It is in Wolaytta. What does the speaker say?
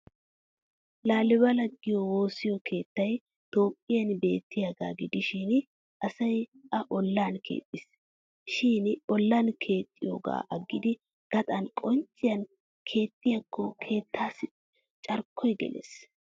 Laalibela giyo woosiyo keettay toophphiyan beettiyaagaa gidishin asay a ollan keexxis. Shin ollan keexxiyoogaa aggidi gaxan qoncciyan keexxiyaakko keettaassi carkkoy gelees.